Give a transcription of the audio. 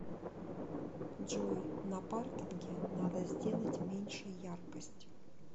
джой на паркинге надо сделать меньше яркость